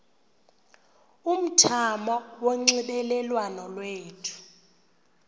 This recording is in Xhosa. umthamo wonxielelwano lwethu